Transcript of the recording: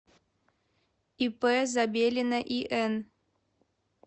ип забелина ин